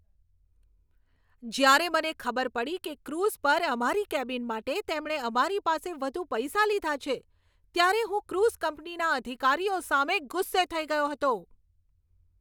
જ્યારે મને ખબર પડી કે ક્રૂઝ પર અમારી કેબિન માટે તેમણે અમારી પાસે વધુ પૈસા લીધા છે, ત્યારે હું ક્રૂઝ કંપનીના અધિકારીઓ સામે ગુસ્સે થઈ ગયો હતો.